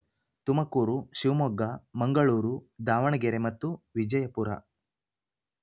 ತುಮಕೂರು ಶಿವಮೊಗ್ಗ ಮಂಗಳೂರು ದಾವಣಗೆರೆ ಮತ್ತು ವಿಜಯಪುರ